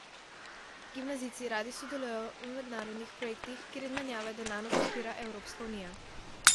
Gimnazijci radi sodelujejo v mednarodnih projektih, kjer izmenjave denarno podpira Evropska unija.